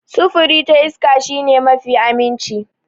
Sufuri ta iska shi ne mafi aminci.